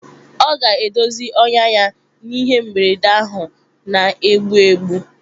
Ọ ga-edozi ọnyá ya n'ihe mberede ahụ na-egbu egbu.